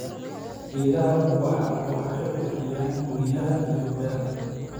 Geedaha ubaxa waxay qurxiyaan guryaha iyo beerta.